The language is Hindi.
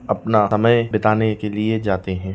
अपना समय बिताने के लिये जाते हैं ।